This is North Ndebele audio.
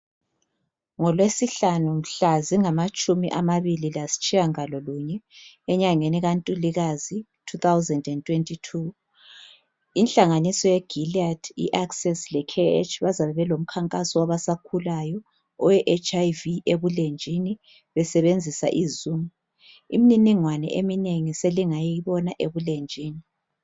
NgolweSihlanu mhla zingamatshumi amabili lasitshiyangalolunye enyangeni kaNtulikazi, 2022 inhlanganiso yeGILEAD, iAccess leCare, bazabe belomkhankaso wabasakhulayo we HIV ebulenjini be sebenzisa iZoom. Imininingwane eminengi selingayibona ebulenjini.